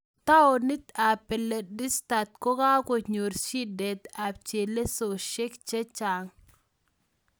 Taonit ab balochistan ko ka konyook shidet ab chelesosiek che chaang